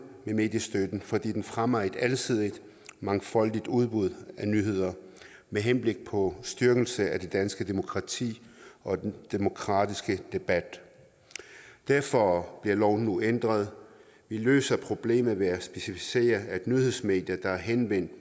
med mediestøtten fordi den fremmer et alsidigt og mangfoldigt udbud af nyheder med henblik på styrkelse af det danske demokrati og den demokratiske debat derfor bliver loven nu ændret vi løser problemet ved at specificere at nyhedsmedier der henvender